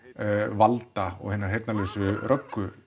valda og hinnar heyrnarlausu